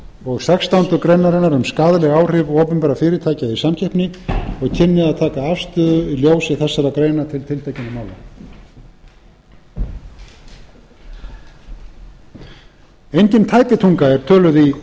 og sextándu grein um skaðleg áhrif opinberra fyrirtækja í samkeppni og kynni að taka afstöðu í ljósi þessara greina til tiltekinna mála engin tæpitunga er töluð í